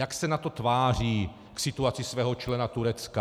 Jak se NATO tváří k situaci svého člena Turecka?